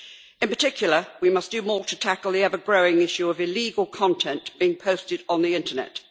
In particular, we must do more to tackle the ever growing issue of illegal content being posted on the Internet.